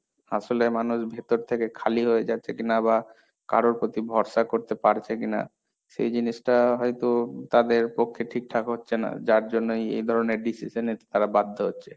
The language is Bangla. আসলে মানুষ ভেতর থেকে খালি হয়ে যাচ্ছে কিনা, বা কারোর প্রতি ভরসা করতে পারছে কিনা, সেই জিনিসটা হয়তো তাদের পক্ষে ঠিকঠাক হচ্ছে না, যার জন্যই এই ধরনের decision এ তারা বাধ্য হচ্ছে।